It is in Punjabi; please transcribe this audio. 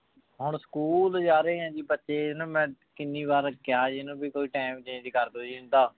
ਹੁਣ school ਜਾ ਰਹੇ ਆਯ ਜੀ ਬਚੀ ਨੂ ਮੈਂ ਕੀਨੀ ਵਾਰੀ ਕਹਯ ਜੀ ਏਨੁ ਭਾਈ ਕੋਈ ਟੀਮ change ਕਰਦੋ ਜੀ ਇੰਦਾ